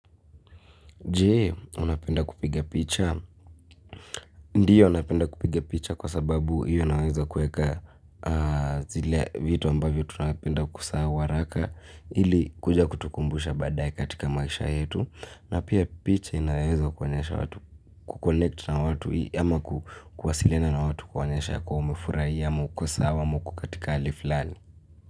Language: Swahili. Je, unapenda kupiga picha? Ndiyo napenda kupiga picha kwa sababu hiyo naweza kuweka zile vitu ambavyo tunapenda kusahau haraka ili kuja kutukumbusha badaye katika maisha yetu. Na pia picha inaweza kuonyesha watu ku connect na watu hii ama kuwasiliana na watu kuonyesha ya kuwa umefurahia ama uko sawa ama uko katika hali fulani.